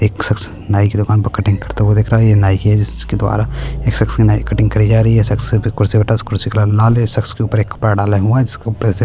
एक शख्स नाई की दुकान पे कटिंग करता हुआ दिख रहा है ये नाई की है जिसके द्वारा एक शख्स के नाई कटिंग करी जा रही है शख्स फिर कुर्सी पर बैठा है उस कुर्सी का रंग लाल है शख्स के ऊपर एक कपड़ा डाले हुए हैं जिसके ऊपर ऐसे--